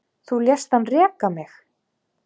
Þú lést hann reka mig